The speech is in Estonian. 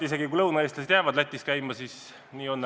Isegi kui lõunaeestlased jäävad Lätis käima, siis nii on.